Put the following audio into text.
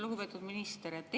Lugupeetud minister!